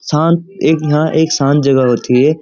शांत एक यहाँ एक शांत जगह होती है।